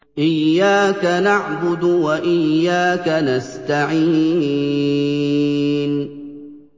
إِيَّاكَ نَعْبُدُ وَإِيَّاكَ نَسْتَعِينُ